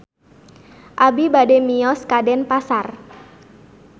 Abi bade mios ka Denpasar